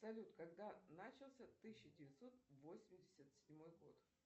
салют когда начался тысяча девятьсот восемьдесят седьмой год